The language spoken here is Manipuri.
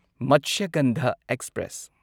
ꯃꯠꯁ꯭ꯌꯥꯒꯟꯙꯥ ꯑꯦꯛꯁꯄ꯭ꯔꯦꯁ